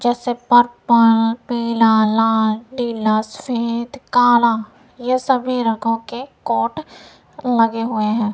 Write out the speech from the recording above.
जैसे पर्पल पीला लाल नीला सफेद काला ये सभी रंगों के कोट लगे हुए है।